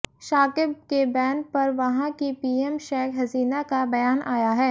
शाकिब के बैन पर वहां की पीएम शेख हसीना का बयान आया है